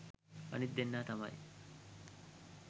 අනිත් දෙන්නා තමයි